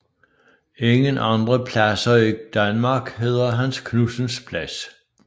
Ingen andre pladser i Danmark hedder Hans Knudsens Plads